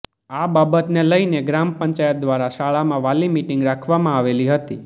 આ બાબતને લઇને ગ્રામ પંચાયત દ્વારા શાળામાં વાલી મિટીંગ રાખવામાં આવેલી હતી